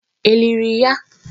È liri ya?